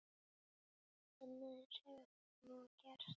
Annað eins hefur nú gerst.